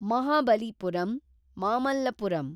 Mahabalipuram, Mamallapuram